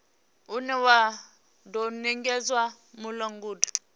une wa do nekedzwa mulanguli